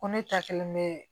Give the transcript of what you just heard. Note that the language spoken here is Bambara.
Ko ne ta kɛlen bɛ